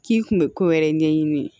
K'i kun bɛ ko wɛrɛ ɲɛɲini